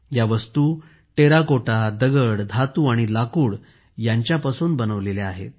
या वस्तू टेराकोटा दगड धातू आणि लाकूड यांच्यापासून बनवलेल्या आहेत